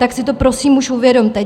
Tak si to prosím už uvědomte!